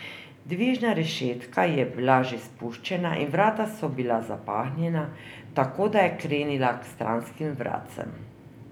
Dvižna rešetka je bila že spuščena in vrata so bila zapahnjena, tako da je krenila k stranskim vratcem.